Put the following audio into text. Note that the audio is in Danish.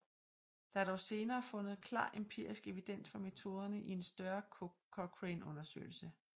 Der er dog senere fundet klar empirisk evidens for metoderne i en større Cochrane undersøgelse